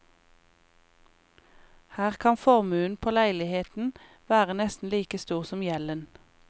Her kan formuen på leiligheten være nesten like stor som gjelden.